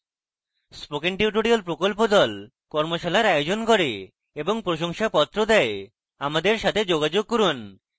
spoken tutorial প্রকল্প the কর্মশালার আয়োজন করে এবং প্রশংসাপত্র the আমাদের সাথে যোগাযোগ করুন